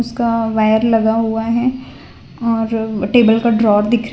का वायर लगा हुआ है और टेबल का ड्रा दिख--